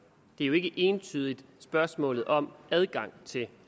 det er jo ikke entydigt spørgsmålet om adgang til